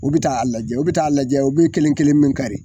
U bɛ t'a lajɛ u bɛ ta'a lajɛ u bɛ kelen kelen min kari.